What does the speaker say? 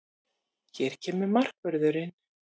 Hér kemur markvörðurinn!